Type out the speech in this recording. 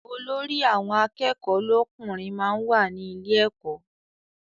Olórí àwọn akẹ́kọ̀ọ́ lọ́kùnrin máa ń wà ní ilé ẹkọ.